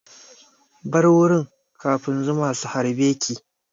Bar wurin kafin zuma su harbe ki!